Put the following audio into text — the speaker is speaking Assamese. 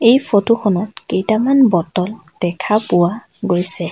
এই ফটোখনত কেইটামান বটল দেখা পোৱা গৈছে।